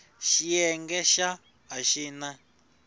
xiyenge xa a xi na